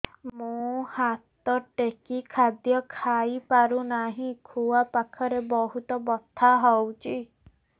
ମୁ ହାତ ଟେକି ଖାଦ୍ୟ ଖାଇପାରୁନାହିଁ ଖୁଆ ପାଖରେ ବହୁତ ବଥା ହଉଚି